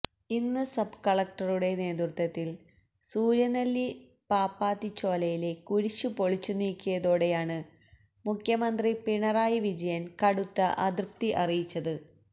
ഇന്ന് സബ് കലക്ടറുടെ നേതൃത്വത്തില് സൂര്യനെല്ലി പാപ്പാത്തിചോലയിലെ കുരിശ് പൊളിച്ചുനീക്കിയതോടെയാണ് മുഖ്യമന്ത്രി പിണറായി വിജയന് കടുത്ത അതൃപ്തി അറിയിച്ചത്